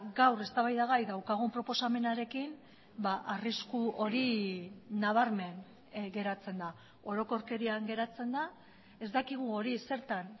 gaur eztabaidagai daukagun proposamenarekin arrisku hori nabarmen geratzen da orokorkerian geratzen da ez dakigu hori zertan